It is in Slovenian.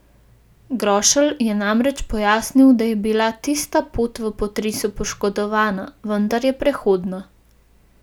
Grošelj je namreč pojasnil, da je bila tista pot v potresu poškodovana, vendar je prehodna.